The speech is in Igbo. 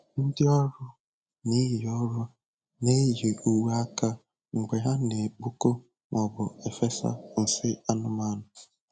Ndị ọrụ na-eyi ọrụ na-eyi uwe aka mgbe ha na-ekpokọ maọbụ efesa nsị anụmanụ.